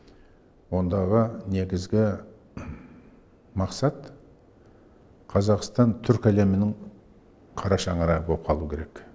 ондағы негізгі мақсат қазақстан түркі әлемінің қара шаңырағы боп қалу керек